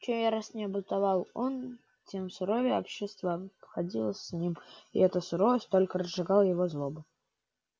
чем яростнее бунтовал он тем суровее общество обходилось с ним и эта суровость только разжигала его злобу